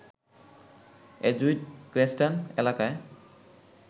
Edgewood Cranston এলাকায়